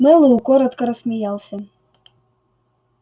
мэллоу коротко рассмеялся